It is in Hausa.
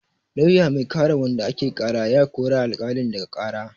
Lauya mai kare wanda ake ƙara ya roƙi alƙali ya ɗaga ƙara.